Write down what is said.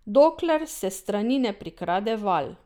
Dokler se s strani ne prikrade val.